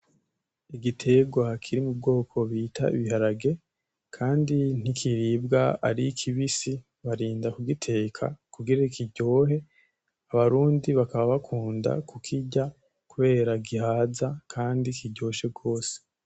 Igiterwa kiri mu bwoko bita ibiharage, kandi nt'ikiribwa ari kibisi barinda kugiteka kugira kiryohe abarundi bakaba bakunda kugirya, kubera gihaza kandi kiryoshe gose.